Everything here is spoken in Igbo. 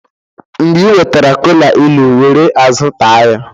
mgbe ị nwetara kola ilu, were azụ ta ya